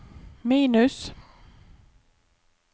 minus